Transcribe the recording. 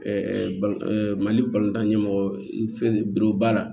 mali ɲɛmɔgɔ fɛ boro baara